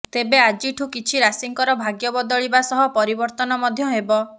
ତେବେ ଆଜିଠୁ କିଛି ରାଶିଙ୍କର ଭାଗ୍ୟ ବଦଳିବା ସହ ପରିବର୍ତ୍ତନ ମଧ୍ୟ ହେବ